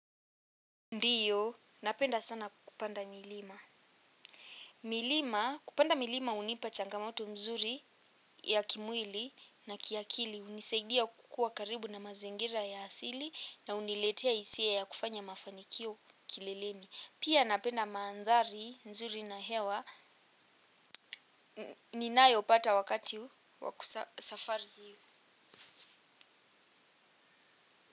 Ndiyo, napenda sana kupanda milima. Milima, kupanda milima hunipa changamoto mzuri ya kimwili na kiakili. Hunisaidia kukuwa karibu na mazingira ya asili na huniletea hisia ya kufanya mafanikio kileleni. Pia napenda maandhari nzuri na hewa ninayopata wakati wa safari hii.